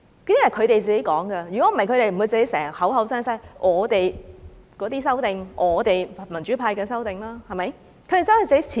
不然的話，他們不會經常口口聲聲說我們的修訂、我們民主派的修訂，對不對？